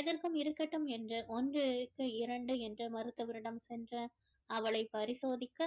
எதற்கும் இருக்கட்டும் என்று ஒன்று இரண்டு என்று மருத்துவரிடம் சென்று அவளை பரிசோதிக்க